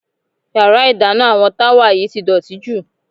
Yàrá ìdáná àwọn Táwà yìí ti dọ̀tí jù.